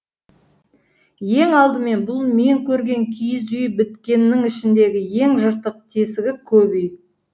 ең алдымен бұл мен көрген киіз үй біткеннің ішіндегі ең жыртық тесігі көп үй